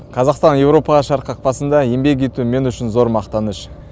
қазақстан еуропаға шығар қақпасында еңбек ету мен үшін зор мақтаныш